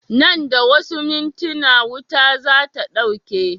Nan da wasu mintina wutar zata ɗauke